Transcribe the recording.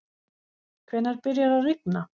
hvenær byrjar að rigna